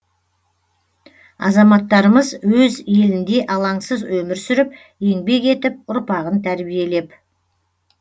азаматтарымыз өз елінде алаңсыз өмір сүріп еңбек етіп ұрпағын тәрбиелеп